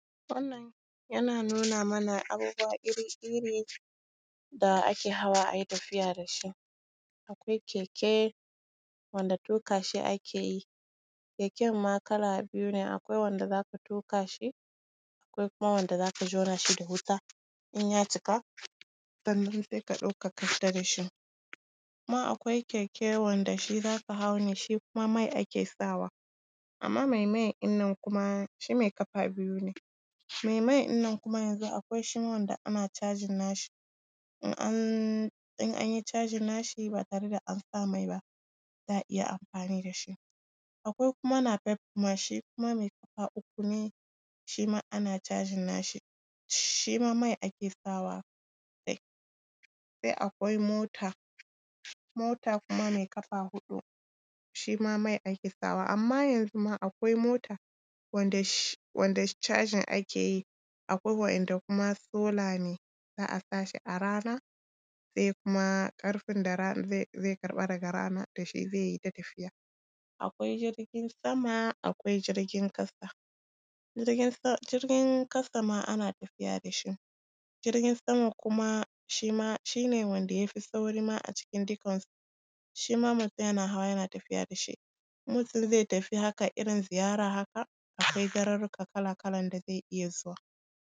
Wannan yana nuna mana abubuwa iri-iri da ake hawa, a yitafiya da shi: akwai keke, wanda tuƙa shi ake yi. Keken ma kala biyu ne: akwai wanda za ka tuƙa shi, akwai kuma wanda za ka jona shi da wuta, in ya cika, sai ka ɗauka, ka fita da shi.. Kuma akwai keke wanda shi za ka hau ne, shi kuma mai ake sawa, amma mai mai ɗin nan kuma shi mai ƙafa biyu ne. Mai mai ɗin nan kuma yanzu akwai shi, wanda ana charging nashi, in an… in an yi charging nashi, ba tare da an sa mai ba, za a iya amfani da shi. Akwai kuma Napep kuma, shi kuma mai ƙafa uku ne, shi ma ana charging nashi, shi ma mai ake sawa dai. Sai akwai mota, mota kuma mai ƙafa huɗu, shi ma mai ake sawa, amma yanzu ma akwai mota wanda shi… charging ake yi akwai wanda kuma solar ne, za a sa shi a rana, sai kuma ƙarfin da rana zai karɓa daga rana da shi zai yi ta tafiya. Akwai jirgin sama, akwai jirgin ƙasa, jirgin ƙasa ma ana tafiya da shi. Jirgin sama kuma shi ma… shi ne wandaya fi sauri ma a cikin dukansu. Shi ma mutum yana hawa, yana tafiya da shi. In mutum zai tafi haka, irin ziyara haka, akwai garurruka kala-kalan da zai iya zuwa.